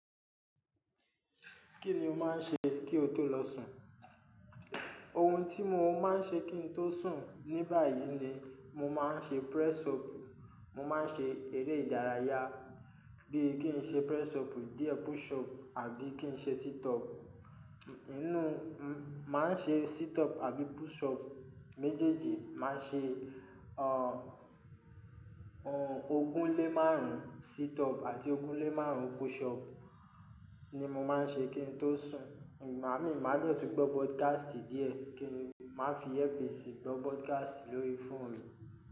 Kí ni o máa ń ṣe kí o tó lọ sùn? Ohun tí mo máa ń ṣe kí n tó sùn ní báyìí ni mo máa ń ṣe press up. Mo máa ń ṣe eré ìdárayá bí i kí n ṣe press up díẹ̀, push up àbí kí n ṣe sit up. Inú máa ń ṣe sit up àbí push up méjèèjì. Máa ṣe ọ ogún lé márùn-ún sit up àti ogún lé márùn-ún push up ni mo máa ń ṣe kí n tó sùn. Igbami má de tun gbọ́ broadcast díẹ̀ kí n má fi earpiece i gbọ́ broadcast lórí phone mi.